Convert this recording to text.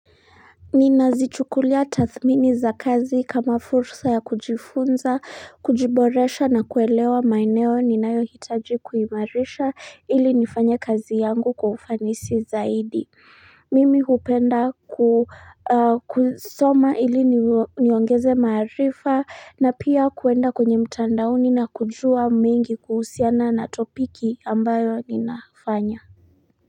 Ninazichukulia tathmini za kazi kama fursa ya kujifunza, kujiboresha na kuelewa maeneo ninayohitaji kuimarisha ili nifanye kazi yangu kwa ufanisi zaidi. Mimi hupenda kusoma ili niongeze maarifa na pia kuenda kwenye mtandaoni na kujua mingi kuhusiana na topiki ambayo ninafanya.